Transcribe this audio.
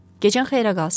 Gecən xeyrə qalsın.